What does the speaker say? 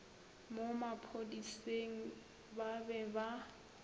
mo bophodiseng ba be ba